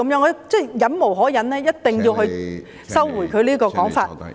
我實在忍無可忍，我一定要他收回這個說法......